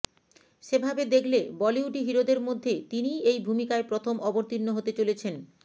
সেভাবে দেখলে বলিউডি হিরোদের মধ্যে তিনিই এই ভূমিকায় প্রথম অবতীর্ণ হতে চলেছেন